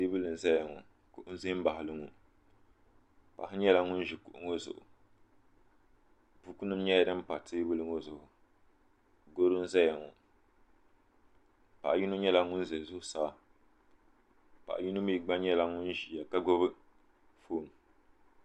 teebuli nʒɛya ŋɔ kuɣu n ʒɛ n baɣali ŋɔ paɣa nyɛla ŋun ʒi kuɣu ŋɔ zuɣu buku nim nyɛla din pa teebuli ŋɔ zuɣu gɛro n ʒɛya ŋɔ paɣa yino nyɛla ŋun ʒɛ zuɣusaa paɣa yino mii gba nyɛla ŋun ʒiya ka gbubi foon